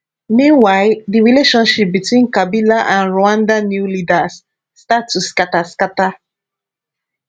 meanwhile di relationship between kabila and rwanda new leaders start to scata scata